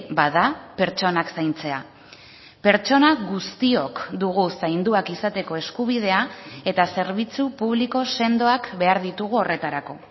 bada pertsonak zaintzea pertsona guztiok dugu zainduak izateko eskubidea eta zerbitzu publiko sendoak behar ditugu horretarako